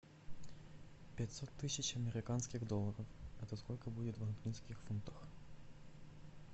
пятьсот тысяч американских долларов это сколько будет в английских фунтах